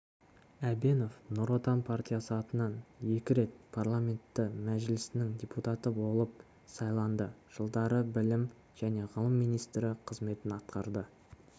әбенов нұр отан партиясы атынан екі рет парламенті мәжілісінің депутаты болып сайланды жылдары білім және ғылым вице-министрі қызметін атқарды